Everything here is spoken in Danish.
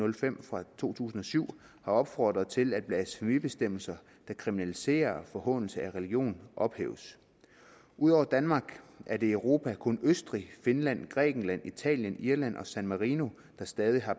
og fem fra to tusind og syv har opfordret til at blasfemibestemmelser der kriminaliserer forhånelse af religion ophæves ud over danmark er det i europa kun østrig finland grækenland italien irland og san marino der stadig har